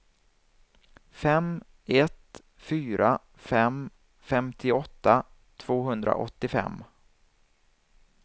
fem ett fyra fem femtioåtta tvåhundraåttiofem